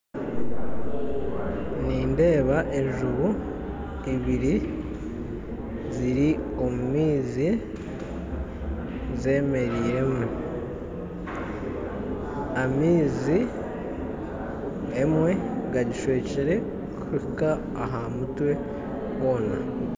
Nindeeba enjubu ibiri ziri omu maizi zemeriiremu. Amaizi emwe gagishwekire kuhika aha mutwe hoona